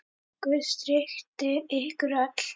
Guð styrki ykkur öll.